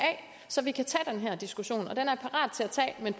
så vi kan tage den her diskussion